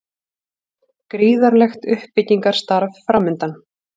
Gríðarlegt uppbyggingarstarf framundan